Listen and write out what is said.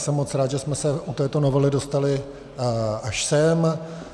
Jsem moc rád, že jsme se u této novely dostali až sem.